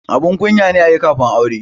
Abun kunya ne ayi kafin aure